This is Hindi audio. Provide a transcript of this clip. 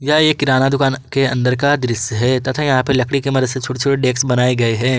यह एक किराना दुकान के अंदर का दृश्य है तथा यहां लकड़ी के मदद से छोटे छोटे डेक्स बनाए गए हैं।